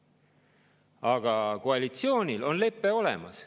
Aga koalitsioonil on lepe olemas.